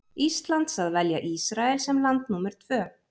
Íslands að velja Ísrael sem land númer tvö.